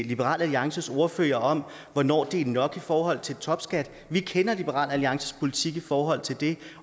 liberal alliances ordfører om hvornår det er nok i forhold til topskat vi kender liberal alliances politik i forhold til det